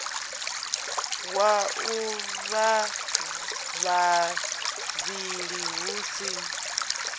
wa avha vhavhili hu si